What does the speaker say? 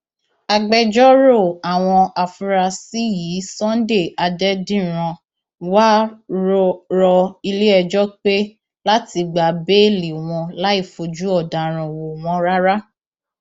agbẹjọrò àwọn afurasí yìí sunday adẹdíran wàá rọ iléẹjọ pé láti gba béèlì wọn láì fojú ọdaràn wò wọn rárá